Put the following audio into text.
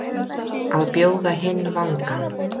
Að bjóða hinn vangann